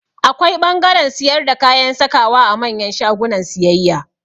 Akwai ɓangaren siyar da kayan sakawa a manyan shagunan siyayya